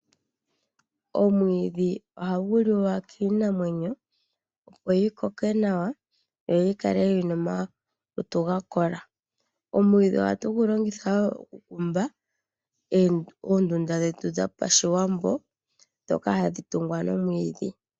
Omwiidhi ohagu liwa kinamwenyo opo yi koke nawa, yo yi kale yina omalutu ga kola. Omwiidhi ohatu gu longitha wo oku kumba oondunda dhetu dho pashiwambo, ndhoka hadhi tungwa nomwiidhi.